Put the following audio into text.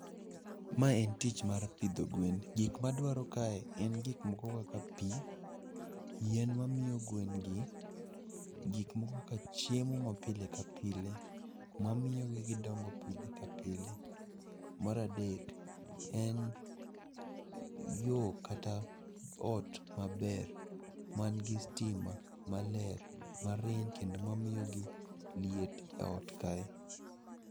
Ma en tich mar pidho gwen, gik madwaro kae en gik moko kaka pi, yien mamiyo gwen gi, gik moko kaka chiemo ma pile ka pile ma miyo gidongo pile ka pile. Maradek en yo kata ot maber man gi stima maler marieny kendo mamiyogi liet e ot kae.